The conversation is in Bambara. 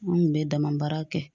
An kun bɛ dama baara kɛ